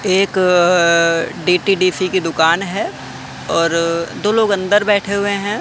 एक अ डी_टी_डी_सी की दुकान है और दो लोग अंदर बैठे हुए हैं।